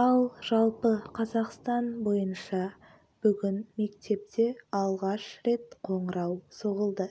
ал жалпы қазақстан бойынша бүгін мектепте алғаш рет қоңырау соғылды